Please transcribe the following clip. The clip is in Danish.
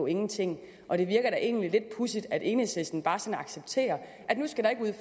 ingenting og det virker da egentlig lidt pudsigt at enhedslisten bare accepterer at nu skal